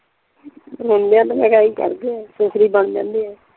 ਮੁੰਡੇ ਤਾਂ ਮੈਂ ਕਿਹਾ ਆਹੀ ਕਰਦੇ ਆ ਦੂਸਰੇ ਈ ਬਣ ਜਾਂਦੇ ਆ।